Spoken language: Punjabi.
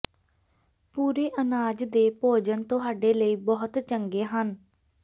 ਪੂਰੇ ਅਨਾਜ ਦੇ ਭੋਜਨ ਤੁਹਾਡੇ ਲਈ ਬਹੁਤ ਚੰਗੇ ਹਨ